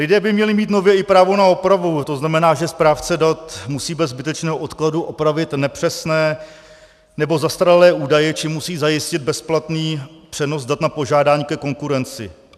Lidé by měli mít nově i právo na opravu, to znamená, že správce dat musí bez zbytečného odkladu opravit nepřesné nebo zastaralé údaje či musí zajistit bezplatný přenos dat na požádání ke konkurenci.